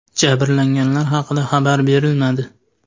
Jabrlanganlar haqida xabar berilmadi.